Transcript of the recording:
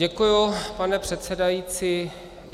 Děkuji, pane předsedající.